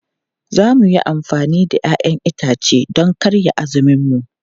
Za mu yi amfani da 'ya'yan itace don karya azuminmu.